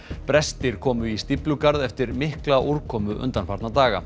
brestir komu í stíflugarð eftir mikla úrkomu undanfarna daga